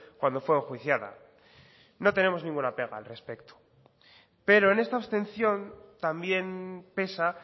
cuando fue enjuiciada no tenemos ninguna pega al respecto pero en esta abstención también pesa